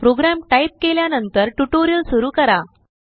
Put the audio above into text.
programme type केल्यानंतरट्यूटोरियल सुरु करा